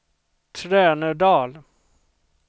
Trönödal